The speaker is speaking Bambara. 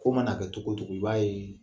Ko mana kɛ togo togo i b'a yee